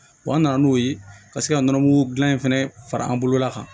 an nana n'o ye ka se ka nɔnɔmugu dilan in fɛnɛ fara an bolola kan